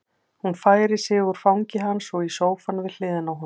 Hún færir sig úr fangi hans og í sófann við hliðina á honum.